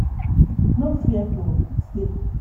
no fear to sey